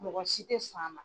Mɔgɔ si tɛ sɔn a ma.